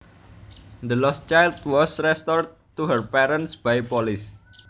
The lost child was restored to her parents by police